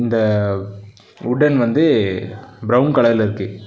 இந்த வுடன் வந்து பிரவுன் கலர்ல இருக்கு.